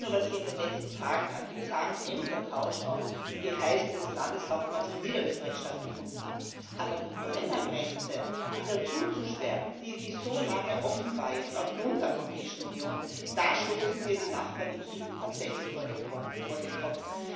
Nicht nur, was hier in den letzten Tagen an bizarrem Ämtertausch auf Geheiß des Landeshauptmanns von Niederösterreich stattgefunden hat, aber die Brennergrenze wieder zuzusperren, die jetzt aufgrund der Europäischen Union so lange offen war da stoßen wir die Nachbarn im Süden tatsächlich vor den Kopf.